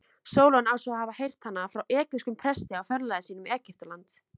Sólon á svo að hafa heyrt hana frá egypskum presti á ferðalagi sínu um Egyptaland.